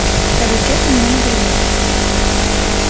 скажу честно мне надоело